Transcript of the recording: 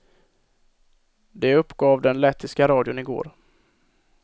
Det uppgav den lettiska radion i går.